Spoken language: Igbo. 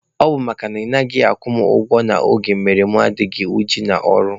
Ọ bụ makana ị naghị akwụ mụ ụgwọ n'oge mere na mụ anaghị adị uchu n'ọrụ.